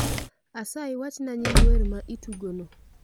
Asayi wachna nying wer ma itugoni